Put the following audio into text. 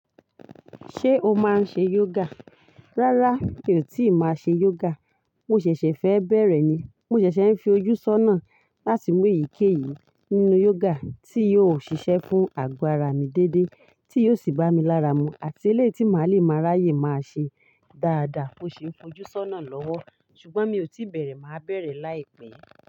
Ṣé o máa ń ṣe yoga? Rárá, mi ò tí ì máa ṣe yoga. Mo ṣẹ̀ṣẹ̀ fẹ́ bẹ̀rẹ̀ ni. Mo ṣẹ̀ṣẹ̀ ń fi ojú sọ́nà láti mú èyíkéyìí nínú yoga tí yóò ṣiṣẹ́ fún àgbàrá mi déédéé, tí yóò sì bá mi lára mu àti eléyìí tí màá le máa ráyè máa ṣe dáadáa mó ṣi n fojú sọ́nà lọ́wọ́. Ṣùgbọ́n mi ò tí bẹ̀rẹ̀, màá bẹ̀rẹ̀ láìpẹ́.